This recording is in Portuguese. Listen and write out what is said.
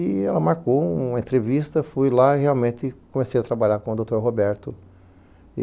E ela marcou uma entrevista, fui lá e realmente comecei a trabalhar com o doutor Roberto, e...